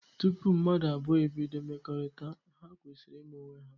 Tụpụ mmadụ abụọ ebido mmekorita, ha kwesiri ima onwe ha.